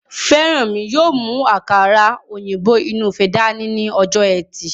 Fẹ́rànmi yóò mú àkàrà òyìnbó inú ife dání ní ọjọ́ ẹtì